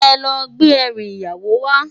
Èlò gbé èrú iyáwó wá